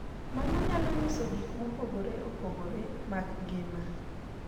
Mano nyalo nyiso gik mopogore opogore mag ngima.